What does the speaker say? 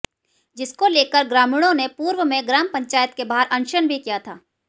जिसको लेकर ग्रामीणों ने पूर्व में ग्राम पंचायत के बाहर अनशन भी किया था